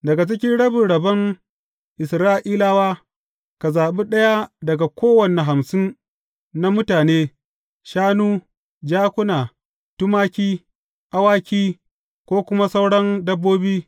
Daga cikin rabin rabon Isra’ilawa, ka zaɓi ɗaya daga kowane hamsin na mutane, shanu, jakuna, tumaki, awaki ko kuma sauran dabbobi.